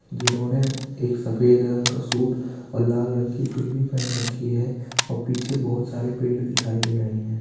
जिन्होंने एक सफेद रंग का सूट और लाल रंग की चुन्नी पहन रखी है और पीछे बहुत सारे पेड़ दिखाई दे रहे है।